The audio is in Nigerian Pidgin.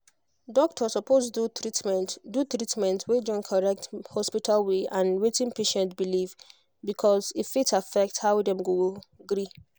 doctor suppose do treatment do treatment wey join correct hospital way and wetin patient believe because e fit affect how dem go gree